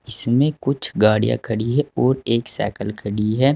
इसमें कुछ गाड़ियां खड़ी है और एक साइकल खड़ी है।